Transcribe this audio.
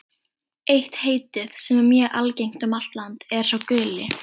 Eitt heitið, sem er mjög algengt um allt land, er sá guli.